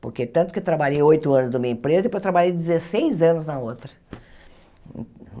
Porque tanto que trabalhei oito anos numa empresa e depois trabalhei dezesseis anos na outra.